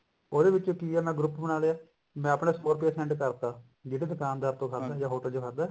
ਉਹਦੇ ਵਿੱਚ ਕਿ ਐ ਮੈਂ group ਬਣਾ ਲਿਆ ਮੈਂ ਆਪਣਾ ਸੋ ਰੁਪਿਆ send ਕਰਤਾ ਜਿਹੜੇ ਦੁਕਾਨਦਾਰ ਤੋਂ ਖਾਦਾ ਜਾ hotel ਚ ਖਾਦਾ